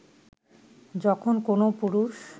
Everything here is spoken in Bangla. যখন কোনও পুরুষ